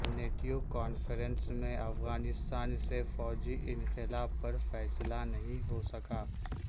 NATO conference میں افغانستان سے فوجی انخلا پر فیصلہ نہیں ہو سکا